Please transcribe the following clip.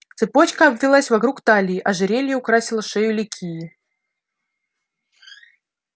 цепочка обвилась вокруг талии ожерелье украсило шею ликии